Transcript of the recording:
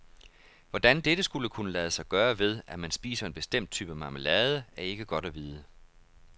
Hvordan dette skulle kunne lade sig gøre ved, at man spiser en bestemt type marmelade, er ikke godt at vide.